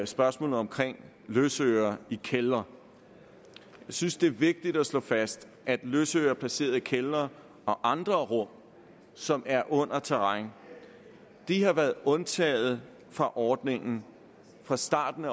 spørgsmålet om løsøre i kældre jeg synes det er vigtigt at slå fast at løsøre placeret i kældre og andre rum som er under terræn har været undtaget fra ordningen fra starten